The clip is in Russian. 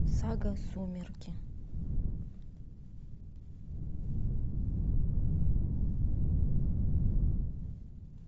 сага сумерки